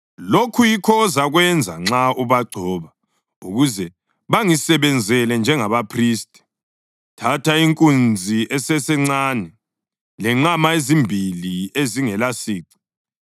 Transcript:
“Lokhu yikho ozakwenza nxa ubagcoba ukuze bangisebenzele njengabaphristi: Thatha inkunzi esesencane lenqama ezimbili ezingelasici.